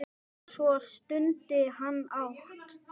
Svo stundi hann hátt.